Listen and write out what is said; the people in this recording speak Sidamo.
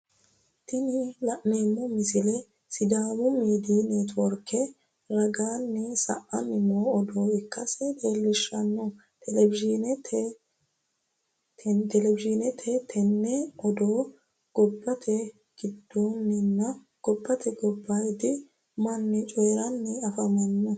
Tini la'neemmo misile sidaamu miidiy neetiworke ragaanni sa'anni noo odoo ikkase leellishshanno televizhineeti tenne odoo gobbate giddooddinna gobbate gobbaayidi manni cooyi'ranni afamanno.